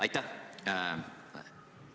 Aitäh!